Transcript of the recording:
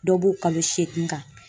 Dɔ b'o kalo seegin kan.